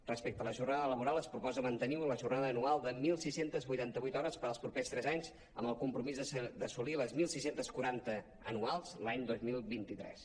respecte a la jornada laboral es proposa mantenir la jornada anual de setze vuitanta vuit hores per als propers tres anys amb el compromís d’assolir les setze quaranta anuals l’any dos mil vint tres